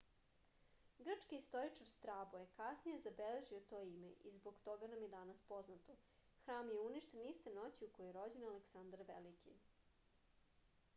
grčki istoričar strabo je kasnije zabeležio to ime i zbog toga nam je danas poznato hram je uništen iste noći u kojoj je rođen aleksandar veliki